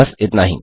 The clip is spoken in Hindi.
बस इतना ही